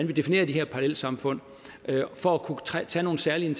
vi definerer de her parallelsamfund for at kunne tage nogle særlige